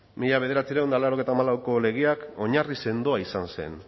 mila bederatziehun eta laurogeita hamalauko legea oinarri sendoa izan zen